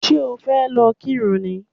Ṣé o fẹ́ lọ kírun ni?